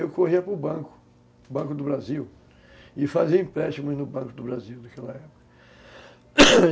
Eu corria para o Banco, Banco do Brasil e fazia empréstimos no Banco do Brasil naquela época